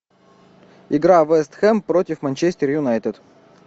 игра вест хэм против манчестер юнайтед